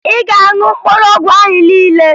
Ị ga-aṅụ mkpụrụ ọgwụ ahụ niile!